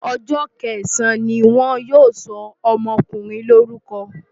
Ọjọ́ kẹsàn-án ni wọ́n yóò sọ ọmọkùnrin lórúkọ.